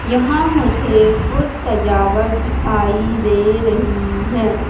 यहां मुझे कुछ सजावट दिखाई दे रही है।